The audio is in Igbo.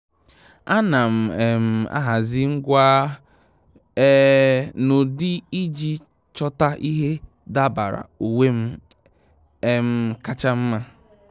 À nà m um ahazị ngwa um n’ụ́dị́ iji chọ́ta ìhè dabara uwe m um kacha mma.